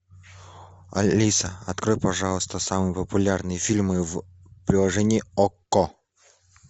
алиса открой пожалуйста самые популярные фильмы в приложении окко